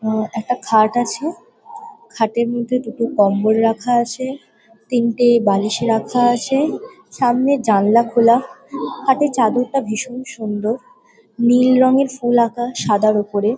আ একটা খাট আছে। খাটের মধ্যে দুটো কম্বল রাখা আছে। তিনটে বালিশ রাখা আছে। সামনে জালনা খোলা। খাটে চাদরটা ভীষণ সুন্দর। নীল রঙের ফুল আঁকা সাদার উপরে।